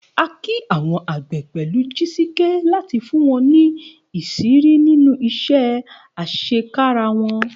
A kí àwọn àgbẹ̀ pẹ̀lú Jisike láti fún wọn ní ìṣírí nínú iṣẹ́ àṣekára wọn.